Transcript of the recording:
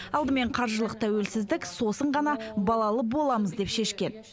алдымен қаржылық тәуелсіздік сосын ғана балалы боламыз деп шешкен